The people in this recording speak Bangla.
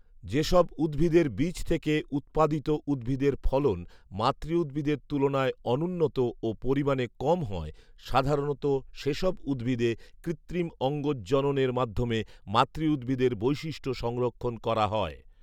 যেসব উদ্ভিদের বীজ থেকে উৎপাদিত উদ্ভিদের ফলন মাতৃউদ্ভিদের তুলনায় অনুন্নত ও পরিমাণে কম হয়, সাধারণত সেসব উদ্ভিদে কৃত্রিম অঙ্গজ জননের মাধ্যমে মাতৃউদ্ভিদের বৈশিষ্ট্য সংরক্ষণ করা হয়